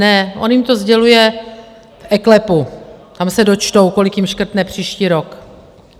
Ne, on jim to sděluje v eKLEPu, tam se dočtou, kolik jim škrtne příští rok.